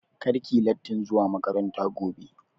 Kar ki yi lattin zuwa makaranta gobe!